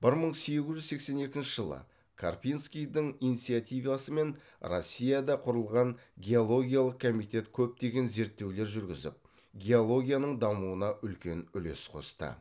бір мың сегіз жүз сексен екінші жылы карпинскийдің инициативасымен россияда құрылған геологиялық комитет көптеген зерттеулер жүргізіп геологияның дамуына үлкен үлес қосты